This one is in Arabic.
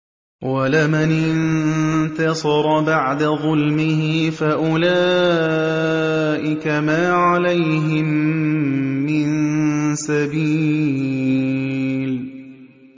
وَلَمَنِ انتَصَرَ بَعْدَ ظُلْمِهِ فَأُولَٰئِكَ مَا عَلَيْهِم مِّن سَبِيلٍ